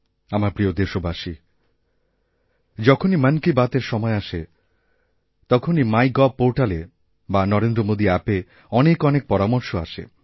আমার প্রিয়দেশবাসী যখনই মন কি বাতএর সময় আসে তখনই মাইগভ পোর্টালে বা নরেন্দ্র মোদীঅ্যাপে অনেক অনেক পরামর্শ আসে